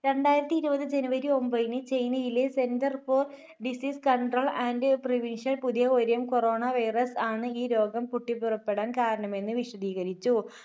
രണ്ടായിരത്തിഇരുപത് January ഒമ്പതിന് ചൈനയിലെ Centre for Disease Control And Prevention പുതിയ variant Corona virus ആണ് ഈ രോഗം പൊട്ടിപുറപ്പെടാൻ കാരണമെന്ന് വിശദീകരിച്ചു.